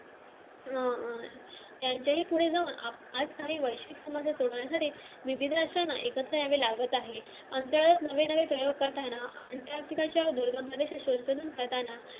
अं विविध असताना एकत्र यावे लागत आहे अंधारात नवे नवे प्रयोग करताना